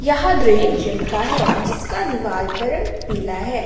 यह दृश्य जिम का है जिसक दीवार का रंग पीला है ।